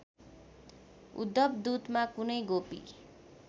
उद्धवदूतमा कुनै गोपी